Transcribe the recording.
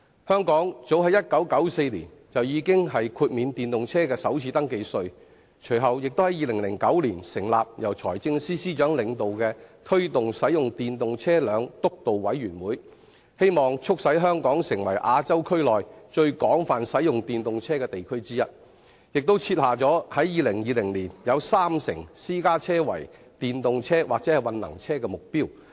香港早於1994年已豁免電動車的首次登記稅，更在2009年成立由財政司司長領導的推動使用電動車輛督導委員會，希望促使香港成為亞洲區內最廣泛使用電動車的地區之一，並設下在2020年有三成私家車為電動車或混能車的目標。